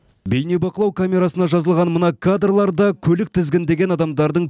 бейнебақылау камерасына жазылған мына кадрларда көлік тізгіндеген адамдардың